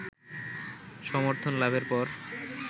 সমর্থনলাভের পর